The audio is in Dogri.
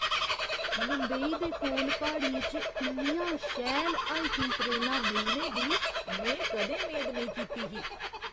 मुंबई दे कोल प्हाड़ियें च इन्नियां शैल हाइकिंग ट्रेलां मिलने दी में कदें मेद नेईं कीती ही।